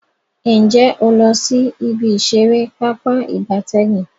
Nje o lo si ibi isere Pápá ìgbatẹ́gùn?